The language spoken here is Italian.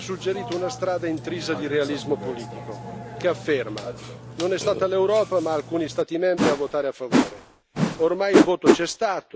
Ora Lei, commissario, ha suggerito una strada intrisa di realismo politico, che afferma non è stata l'Europa, ma alcuni Stati membri a votare a favore.